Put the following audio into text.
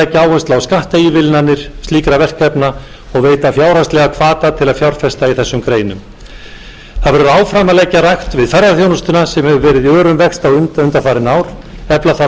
áherslu á skattaívilnanir slíkra verkefna og veita fjárhagslegan hvata til að fjárfesta í þessum greinum það verður áfram að leggja rækt við ferðaþjónustuna sem hefur verið í örum vexti undanfarin ár efla þarf